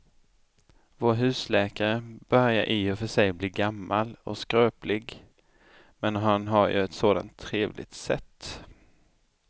Vår husläkare börjar i och för sig bli gammal och skröplig, men han har ju ett sådant trevligt sätt!